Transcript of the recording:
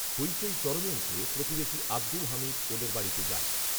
হইচই চরমে উঠলে প্রতিবেশী আবদুল হামিদ, ওদের বাড়িতে যান